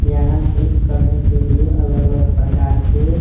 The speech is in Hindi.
यहाँ जिम करने के लिए अलग-अलग प्रकार के--